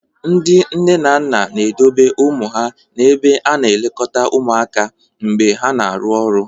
Ndị nne na nna na-edobe ụmụ ha n'ebe a na-elekọta ụmụaka mgbe ha na-arụ ọrụ.